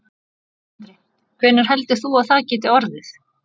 Sindri: Hvenær heldurðu að það geti orðið?